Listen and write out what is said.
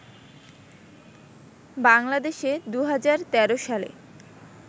বাংলাদেশে ২০১৩ সালে